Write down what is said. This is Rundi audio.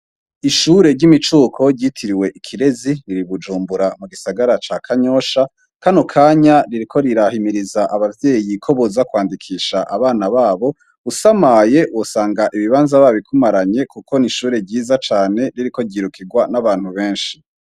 Ishure ry'imicuko ryitiriwe Ikirezi, riri Bujumbura mu gisagara ca Kanyosha. kano kanya, ririko rirahimiriza abavyeyi ko boza kwandikisha abana b'abo, usamaye ,wosanga ibibanza babikumaranye, kuko n'ishure ryiza cane ririko ryirukirwa n'abantu benshi.